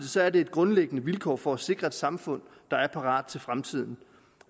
er det et grundlæggende vilkår for at sikre et samfund der er parat til fremtiden